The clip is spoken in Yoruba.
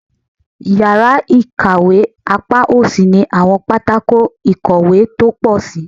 Yara ikawe apa osi ni awọn patako ikowe to po sii